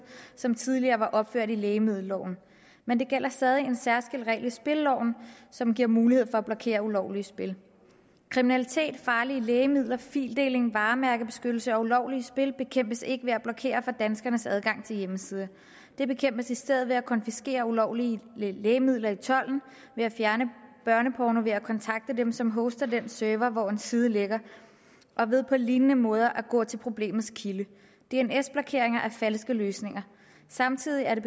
som tidligere var opført i lægemiddelloven men der gælder stadig en særskilt regel i spilleloven som giver mulighed for at blokere ulovlige spil kriminalitet farlige lægemidler fildeling varemærkekrænkelser og ulovlige spil bekæmpes ikke ved at blokere for danskernes adgang til hjemmesider det bekæmpes i stedet ved at konfiskere ulovlige lægemidler i tolden ved at fjerne børneporno ved at kontakte dem som hoster den server hvor en side ligger og ved på lignende måde at gå til problemets kilde dns blokeringer er falske løsninger samtidig er det